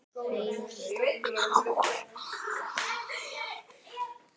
Heilt ár!